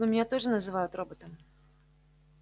ну меня тоже называют роботом